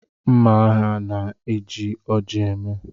Mma agha na-eji oji eme.